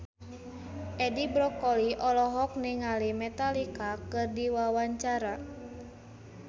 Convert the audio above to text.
Edi Brokoli olohok ningali Metallica keur diwawancara